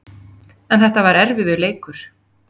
En þetta var erfiður leikur